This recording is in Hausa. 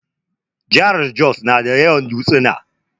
Jahar Jos na da yawan dutsuna